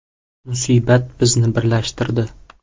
Musibat bizni birlashtirdi.